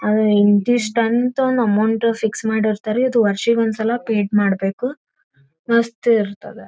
ಅದು ಇಂತಿಷ್ಟಂತ ಒಂದು ಅಮೌಂಟ ಫಿಕ್ಸ ಮಾಡಿರ್ತಾರಿ ಅದು ವರ್ಷಿಗೊಂದ ಸಲ ಪೆಡ ಮಾಡಬೆಕು ಮಸ್ತ ಇರತದ .